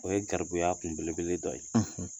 O ye garibuya kunbelebele dɔ ye